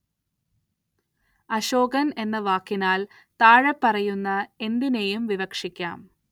അശോകന്‍ എന്ന വാക്കിനാല്‍ താഴെപ്പറയുന്ന എന്തിനേയും വിവക്ഷിക്കാം